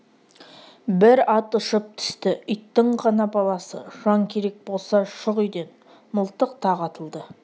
бір ат ұшып түсті иттің ғана баласы жан керек болса шық үйден мылтық тағы атылды